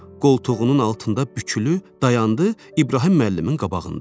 Qoltuğunun altında bükülü dayandı İbrahim müəllimin qabağında.